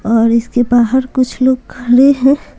और इसके बाहर कुछ लोग खड़े हैं।